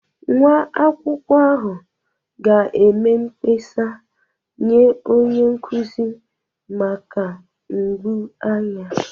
Nwa akwụkwọ ahụ ga-eme mkpesa nye onye nkuzi maka mgbu anya